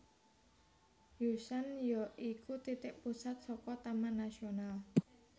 Yushan ya iku titik pusat saka Taman Nasional